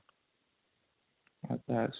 ଆଛା |